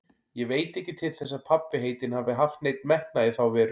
Ég veit ekki til þess að pabbi heitinn hafi haft neinn metnað í þá veru.